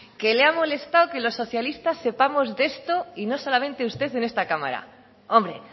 que le ha molestado que los socialistas sepamos de esto y no solamente usted en esta cámara hombre